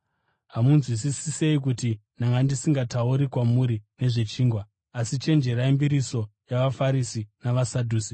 Hamunzwisisi sei kuti ndanga ndisingatauri kwamuri nezvechingwa? Asi chenjererai mbiriso yavaFarisi navaSadhusi.”